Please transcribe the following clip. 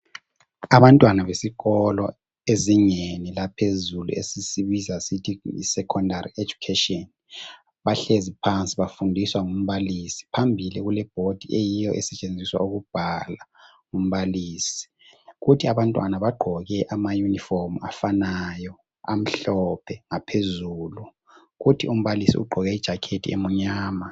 Abantwana besikolo ezingeni laphezulu esisibiza sithi yi secondary education .Bahlezi phansi bafundiswa ngumbalisi .Phambili kule board eyiyo esetshenziswa ukubhala ngumbalisi . Kuthi abantwana bagqoke ama uniform afanayo amhlophe ngaphezulu .Kuthi umbalisi ugqoke ijacket emnyama.